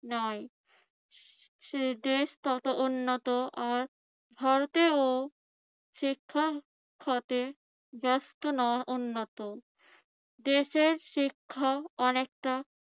নয় সে দেশ তত উন্নত আর ভারতেও শিক্ষা খাতে উন্নত। দেশের শিক্ষা অনেকটা